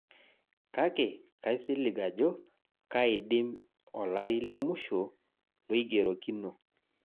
Kake kaisilig ajo kaidim olari lemusho loigerokino